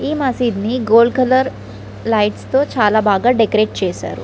ఈ మసీద్ ని గోల్డ్ కలర్ లీఘటస్ తో చాల బాగా డెకోరతే చేసారు.